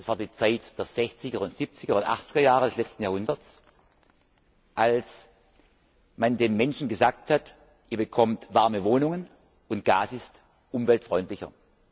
Es war die Zeit der Sechziger Siebziger und Achtziger Jahre des letzten Jahrhunderts, als man den Menschen gesagt hat, ihr bekommt warme Wohnungen, und Gas ist umweltfreundlicher.